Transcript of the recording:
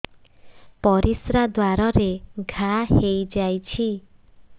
ପରିଶ୍ରା ଦ୍ୱାର ରେ ଘା ହେଇଯାଇଛି